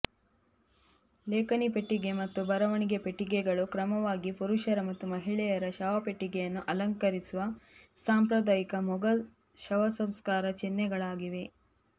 ಲೇಖನಿ ಪೆಟ್ಟಿಗೆ ಮತ್ತು ಬರವಣಿಗೆ ಪೆಟ್ಟಿಗೆಗಳು ಕ್ರಮವಾಗಿ ಪುರುಷರ ಮತ್ತು ಮಹಿಳೆಯರ ಶವಪೆಟ್ಟಿಗೆಯನ್ನು ಅಲಂಕರಿಸುವ ಸಾಂಪ್ರದಾಯಿಕ ಮೊಘಲ್ ಶವಸಂಸ್ಕಾರ ಚಿಹ್ನೆಗಳಾಗಿವೆ